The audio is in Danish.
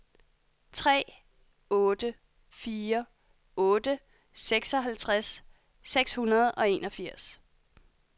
tre otte fire otte seksoghalvtreds seks hundrede og enogfirs